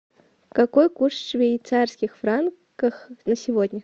какой курс швейцарских франков на сегодня